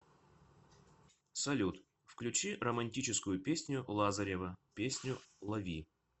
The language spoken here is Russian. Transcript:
салют включи романтическую песню лазарева песню лови